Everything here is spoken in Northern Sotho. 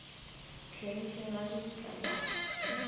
hlenghleng ga lebitla la go